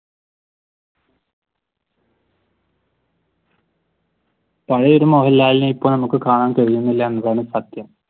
പഴയ ഒരു മോഹൻലാലിനെ ഇപ്പൊ നമുക്ക് കാണാൻ കഴിയുന്നില്ല എന്നതാണ് സത്യം.